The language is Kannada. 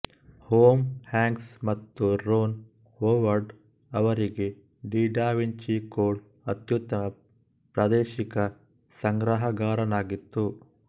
ಟೊಮ್ ಹ್ಯಾಂಕ್ಸ್ ಮತ್ತು ರೊನ್ ಹೊವರ್ಡ್ ಅವರಿಗೆ ದಿ ಡ ವಿಂಚಿ ಕೋಡ್ ಅತ್ಯುತ್ತಮ ಪ್ರಾದೇಶಿಕ ಸಂಗ್ರಹಗಾರನಾಗಿತ್ತು